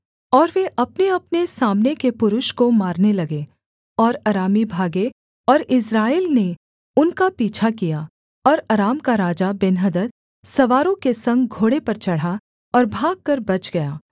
और वे अपनेअपने सामने के पुरुष को मारने लगे और अरामी भागे और इस्राएल ने उनका पीछा किया और अराम का राजा बेन्हदद सवारों के संग घोड़े पर चढ़ा और भागकर बच गया